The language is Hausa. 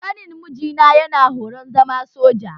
Ƙanin mijina yana horon zama soja